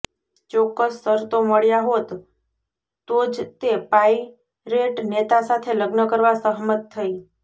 ચોક્કસ શરતો મળ્યા હોત તો જ તે પાઇરેટ નેતા સાથે લગ્ન કરવા સહમત થઈ